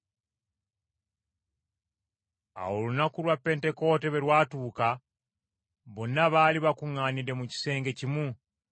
Awo olunaku lwa Pentekoote bwe lwatuuka bonna baali bakuŋŋaanidde mu kisenge kimu.